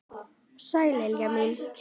Sæl Lilla mín!